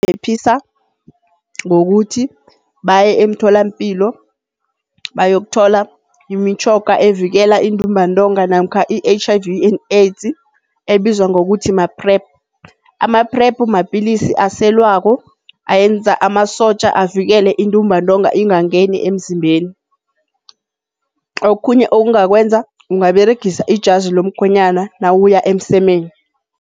Bangaziphephisa ngokuthi baye emtholampilo bayokuthola imitjhoga evikela intumbantonga namkha i-H_I_V and AIDS, ebizwa ngokuthi ma-PrEP. Ama-PrEP mapilisi aselwako ayenza amasotja avikele intumbantonga ingangeni emzimbeni. Okhunye okungakwenza ungaberegisa ijazi lomkhwenyana nawuya emsemeni.